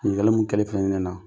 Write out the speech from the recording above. Ɲininkali mun kɛlen filɛ nin ye ne na